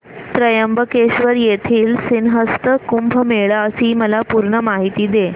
त्र्यंबकेश्वर येथील सिंहस्थ कुंभमेळा ची मला पूर्ण माहिती सांग